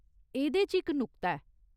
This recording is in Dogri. एह्दे च इक नुक्ता ऐ।